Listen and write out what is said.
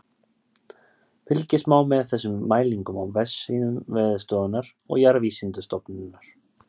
Fylgjast má með þessum mælingum á vefsíðum Veðurstofunnar og Jarðvísindastofnunar.